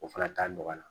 O fana t'a nɔgɔya